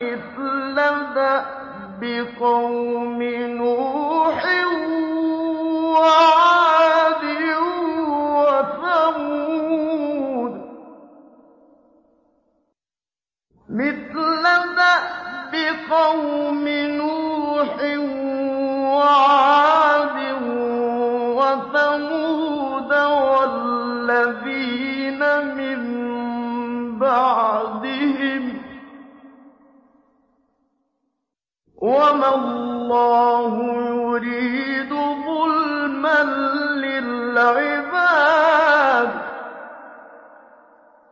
مِثْلَ دَأْبِ قَوْمِ نُوحٍ وَعَادٍ وَثَمُودَ وَالَّذِينَ مِن بَعْدِهِمْ ۚ وَمَا اللَّهُ يُرِيدُ ظُلْمًا لِّلْعِبَادِ